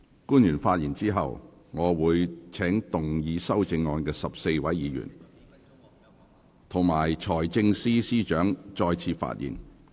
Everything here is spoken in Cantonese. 官員發言後，我會請動議修正案的14位委員及財政司司長再次發言。